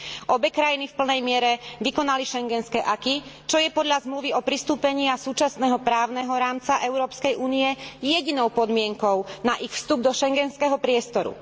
Obe krajiny v plnej miere vykonali schengenské acquis, čo je podľa Zmluvy o pristúpení a súčasného právneho rámca Európskej únie jedinou podmienkou na ich vstup do schengenského priestoru.